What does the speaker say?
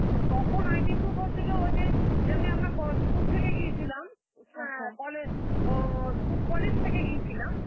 অতক্ষণ ID proof হছিলো ওই যে যেমনি আমরা ক~ ও school থেকে গিয়েছিলাম, কলে~ ও ঔ school~ college থেকে গিয়েছিলাম.